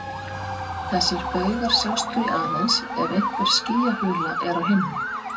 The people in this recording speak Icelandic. Þessir baugar sjást því aðeins ef einhver skýjahula er á himni.